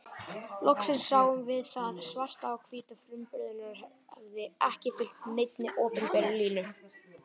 Loksins sáum við það svart á hvítu að frumburðurinn hafði ekki fylgt neinni opinberri línu.